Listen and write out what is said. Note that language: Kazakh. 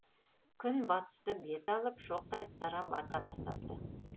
күн батысты бет алып шоқтай қызара бата бастапты